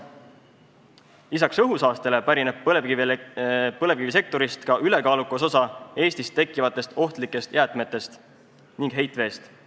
Lisaks õhusaastele pärineb põlevkivisektorist ka ülekaalukas osa Eestis tekkivatest ohtlikest jäätmetest ning heitveest.